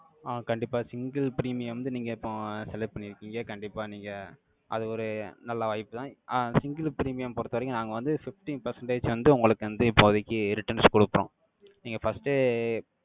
ஆஹ் கண்டிப்பா single premium வந்து, நீங்க இப்போ select பண்ணியிருக்கீங்க. கண்டிப்பா நீங்க, அது ஒரு நல்ல வாய்ப்புதான். ஆஹ் single premium பொறுத்தவரைக்கும், நாங்க வந்து, fifteen percentage வந்து, உங்களுக்கு வந்து, இப்போதைக்கு, returns கொடுக்கிறோம். நீங்க first ஏ